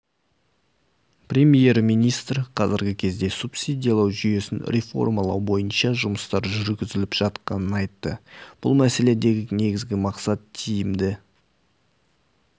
премьер-министр қазіргі кезде субсидиялау жүйесін реформалау бойынша жұмыстар жүргізіліп жатқанын айтты бұл мәселедегі негізгі мақсат тиімді